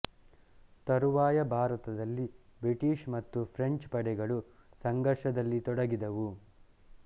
ತರುವಾಯ ಭಾರತದಲ್ಲಿ ಬ್ರಿಟಿಷ್ ಮತ್ತು ಫ್ರೆಂಚ್ ಪಡೆಗಳು ಸಂಘರ್ಷದಲ್ಲಿ ತೊಡಗಿದವು